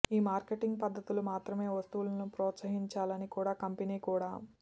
ఈ మార్కెటింగ్ పద్ధతులు మాత్రమే వస్తువుల ప్రోత్సహించాలని కూడా కంపెనీ కూడా